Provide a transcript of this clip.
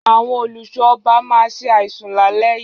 Àwọn olùṣọ́ ọba ma ṣe àìsùn lálé yìí